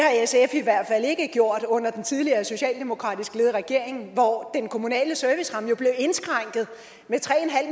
i hvert fald ikke gjort under den tidligere socialdemokratisk ledede regering hvor den kommunale serviceramme jo blev indskrænket med tre